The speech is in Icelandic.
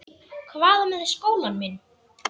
Hvað með skólann minn?